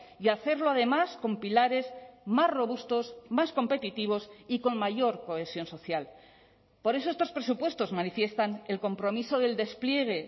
y hacerlo además con pilares más robustos más competitivos y con mayor cohesión social por eso estos presupuestos manifiestan el compromiso del despliegue